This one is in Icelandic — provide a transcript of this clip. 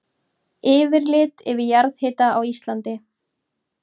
Yfirlit yfir jarðhita á Íslandi.